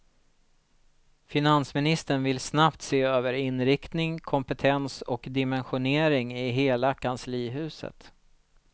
Finansministern vill snabbt se över inriktning, kompetens och dimensionering i hela kanslihuset.